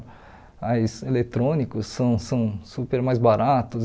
Mas eletrônicos são são super mais baratos.